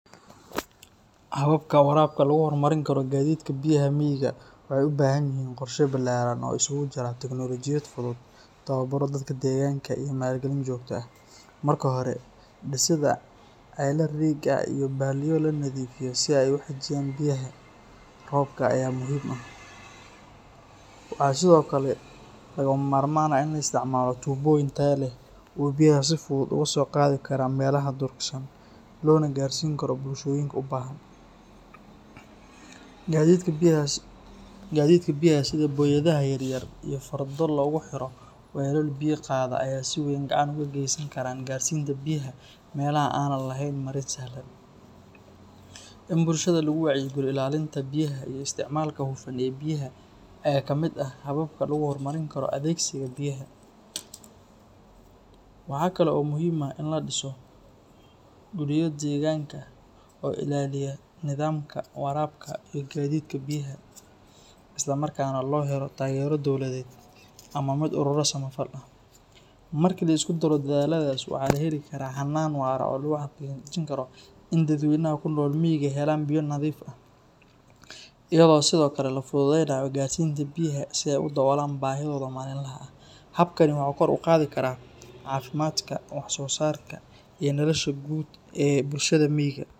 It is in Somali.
Hababka waraabka lagu horumarin karo gaadiidka biyaha miyiga waxay u baahan yihiin qorshe ballaaran oo isugu jira tignoolajiyad fudud, tababaro dadka deegaanka, iyo maalgelin joogto ah. Marka hore, dhisidda ceelal riig ah iyo balliyo la nadiifiyo si ay u xajiyaan biyaha roobka ayaa muhiim ah. Waxaa sidoo kale lagama maarmaan ah in la isticmaalo tuubooyin tayo leh oo biyaha si fudud uga soo qaadi kara meelaha durugsan loona gaarsiin karo bulshooyinka u baahan. Gaadiidka biyaha sida booyadaha yaryar iyo fardo loogu xiro weelal biyo qaada ayaa si weyn gacan uga geysan kara gaarsiinta biyaha meelaha aanan lahayn marin sahlan. In bulshada lagu wacyigeliyo ilaalinta ilaha biyaha iyo isticmaalka hufan ee biyaha ayaa ka mid ah hababka lagu horumarin karo adeegsiga biyaha. Waxaa kale oo muhiim ah in la dhiso guddiyo deegaanka ah oo ilaaliya nidaamka waraabka iyo gaadiidka biyaha, isla markaana la helo taageero dowladeed ama mid ururo samafal ah. Markii la isku daro dadaalladaas, waxaa la heli karaa hannaan waara oo lagu xaqiijin karo in dadweynaha ku nool miyiga helaan biyo nadiif ah, iyadoo sidoo kale la fududeeyo gaarsiinta biyaha si ay u daboolaan baahidooda maalinlaha ah. Habkani wuxuu kor u qaadi karaa caafimaadka, wax soo saarka iyo nolosha guud ee bulshada miyiga.